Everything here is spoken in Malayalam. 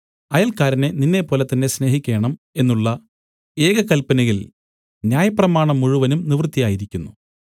അയൽക്കാരനെ നിന്നെപ്പോലെതന്നെ സ്നേഹിക്കേണം എന്നുള്ള ഏക കല്പനയിൽ ന്യായപ്രമാണം മുഴുവനും നിവർത്തിയായിരിക്കുന്നു